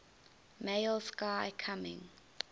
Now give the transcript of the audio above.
male sky coming